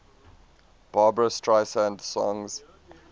barbra streisand songs